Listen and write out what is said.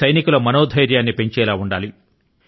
సైనికుల మనోధైర్యాన్ని పెంచేవిగా ఉండాలి